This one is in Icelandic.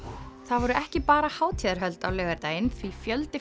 voru ekki bara hátíðarhöld á laugardaginn því fjöldi